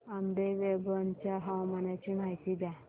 आंबेवंगन च्या हवामानाची माहिती द्या